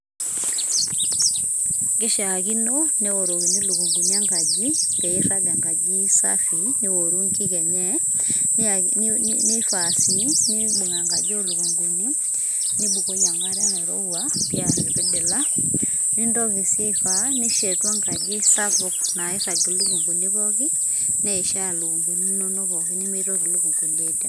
kishakino ,neorokini ilikunguni enkaji, peee irag enkaji safi, nioru inkik enye nifaa si nibung enkaji olukunguni nibukoki enkare rairowua, piar ipidila, nintoki si aifaa nishetu enkaji sapuk nairag ilukunguni pooki, neisha ilukunguni inono pooki nemitoki ilukunguni aidinga,